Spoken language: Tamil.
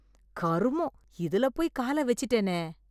கருமொம்! இதுல போய் கால வெச்ச்சுட்டேனே